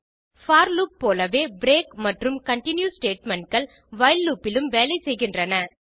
போர் loop போலவே break மற்றும் continue statementகள் வைல் லூப் இலும் வேலை செய்கின்றன